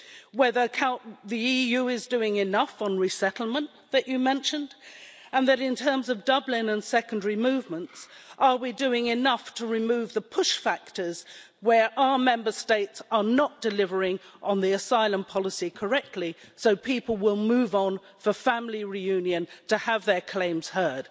Whether the EU is doing enough on resettlement, that you mentioned, and that in terms of Dublin and secondary movements, are we doing enough to remove the push factors where our Member States are not delivering on the asylum policy correctly so people will move on for family reunion to have their claims heard?